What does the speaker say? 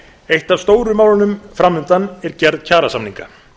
eitt af stóru málunum fram undan er gerð kjarasamninga